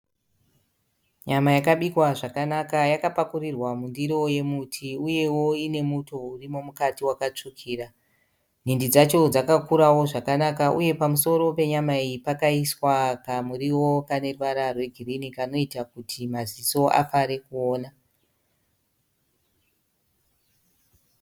Nyama yakabikwa zvakanaka yakapakurirwa mundiro yemuti uyewo ine muto urimo mukati wakatsvukira. Nhindi dzacho dzakakurawo zvakanaka uye pamusoro penyama iyi pakaiswa kamuriwo kane ruvara rwegirinhi kanoita kuti maziso afare kuona.